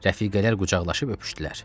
Rəfiqələr qucaqlaşıb öpüşdülər.